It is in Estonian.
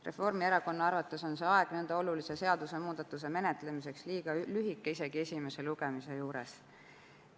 Reformierakonna arvates on see aeg nõnda olulise seadusemuudatuse menetlemiseks liiga lühike isegi esimese lugemise juures.